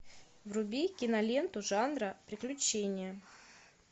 вруби киноленту жанра приключения